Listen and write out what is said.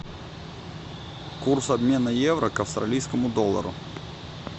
курс обмена евро к австралийскому доллару